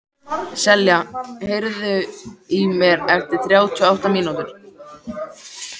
Selja, heyrðu í mér eftir þrjátíu og átta mínútur.